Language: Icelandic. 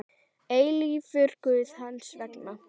eilífur Guð hans vegna.